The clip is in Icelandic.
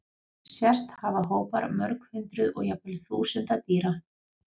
Sést hafa hópar mörg hundruð og jafnvel þúsunda dýra.